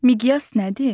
Miqyas nədir?